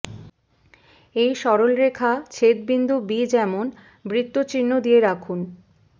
এই সরল রেখা ছেদ বিন্দু বি যেমন বৃত্ত চিহ্ন দিয়ে রাখুন